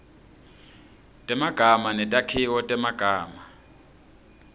temagama netakhiwo temagama